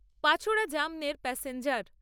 পাচোড়া জামনের প্যাসেঞ্জার